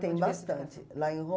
Tem bastante. Lá em